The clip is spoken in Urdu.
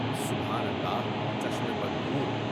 سبحان الله چشم بد دور۔